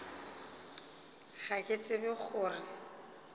ga ke tsebe go re